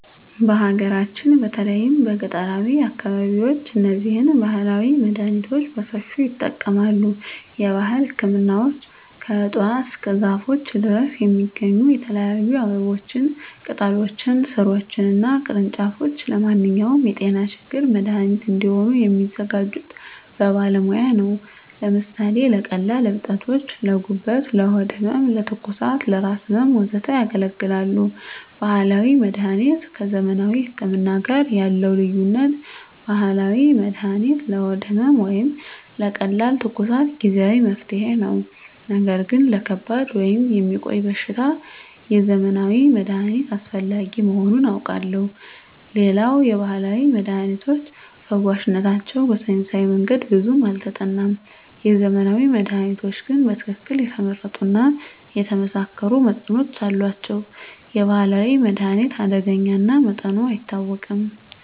በሀገራችን በተለይም በገጠራዊ አካባቢዎች እነዚህን ባህላዊ መድሃኒቶች በሰፊው ይጠቀማሉ። የባህል ህክምናዎች ከእፅዋት እስከ ዛፎች ድረስ የሚገኙ የተለያዩ አበቦችን፣ ቅጠሎችን፣ ሥሮችን እና ቅርንጫፎች ለማንኛውም የጤና ችግር መድሃኒት እንዲሆኑ የሚያዘጋጁት በባለሙያ ነው። ለምሳሌ ለቀላል እብጠቶች: ለጉበት፣ ለሆድ ህመም፣ ለትኩሳት፣ ለራስ ህመም፣ ወዘተ ያገለግላሉ። ባህላዊ መድሀኒት ከዘመናዊ ህክምና ጋር ያለው ልዩነት፦ ባህላዊ መድሃኒት ለሆድ ህመም ወይም ለቀላል ትኩሳት ጊዜአዊ መፍትሄ ነው። ነገር ግን ለከባድ ወይም የሚቆይ በሽታ የዘመናዊ መድሃኒት አስፈላጊ መሆኑን አውቃለሁ። ሌላው የባህላዊ መድሃኒቶች ፈዋሽነታቸው በሳይንሳዊ መንገድ ብዙም አልተጠናም። የዘመናዊ መድሃኒቶች ግን በትክክል የተመረጡ እና የተመሳከሩ መጠኖች አሏቸው። የባህላዊ መድሃኒት አደገኛ እና መጠኑ አይታወቅም።